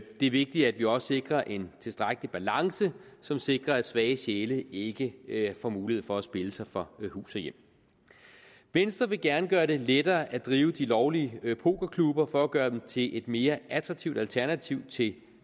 er vigtigt at vi også sikrer en tilstrækkelig balance som sikrer at svage sjæle ikke ikke får mulighed for at spille sig fra hus og hjem venstre vil gerne gøre det lettere at drive de lovlige pokerklubber for at gøre dem til et mere attraktivt alternativ til